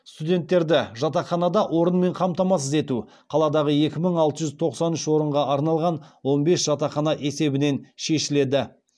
студенттерді жатақханада орынмен қамтамасыз ету қаладағы екі мың алты жүз тоқсан үш орынға арналған он бес жатақхана есебінен шешіледі